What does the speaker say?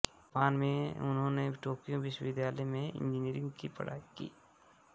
Japan में उन्होंने Tokyo विश्वविद्यालय में इंजीनियरिंग की पढ़ाई की